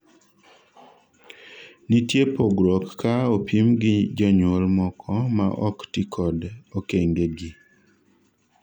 nitie pgruok ka opim gi jonyuol moko ma ok tikod okenge gi